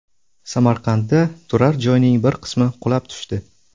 Samarqandda turar-joyning bir qismi qulab tushdi .